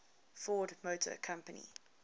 ford motor company